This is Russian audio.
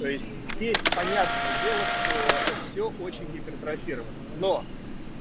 то есть здесь понятное дело что все очень гипертрофирован но